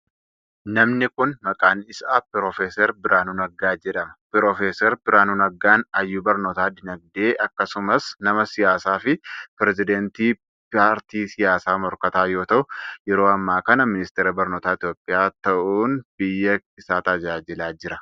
Namni kun, maqaan isaa Piroofeesar Birhaanuu Naggaa jedhama. Piroofeesar Birhaanuu Naggaan hayyuu barnootaa diinagdee akkasumas nama siyaasaa fi pireezidantii paartii siyaasaa morkataa yoo ta'u, yeroo ammaa kana ministeera barnootaa Itoophiyaa ta'uun biyya isaa tajaajilaa jira.